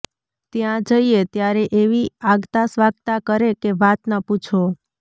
ત્યાં જઈએ ત્યારે એવી આગતાસ્વાગતા કરે કે વાત ન પૂછો